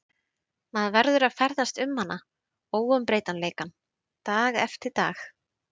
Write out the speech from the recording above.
Maður verður að ferðast um hana, óumbreytanleikann, dag eftir dag.